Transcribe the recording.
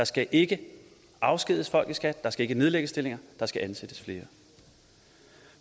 skal ikke afskediges folk i skat der skal ikke nedlægges stillinger der skal ansættes flere